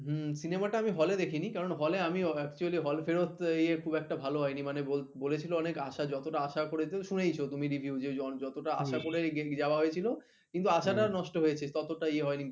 হম cinema টা আমি hall এ দেখিনি কারণ hall এ আমি actually hall ফেরত ইয়ে খুব একটা ভালো হয়নি বলেছিল অনেক আশা, যতটা আশা করেছিল শুনেছ তুমি review যতটা আশা করে যাওয়া হয়েছিল কিন্তু আসাটা নষ্ট হয়েছে ততটা ইয়ে হয়নি